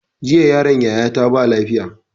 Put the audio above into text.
Jiya yaron yaya ta ba lafiya